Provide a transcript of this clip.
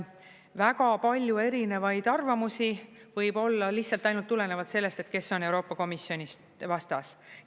Väga palju erinevaid arvamusi võib olla lihtsalt ainult tulenevalt sellest, kes on Euroopa Komisjonist vastas.